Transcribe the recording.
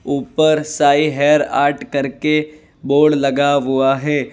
ऊपर Sai hair art करके board लगा हुआ है।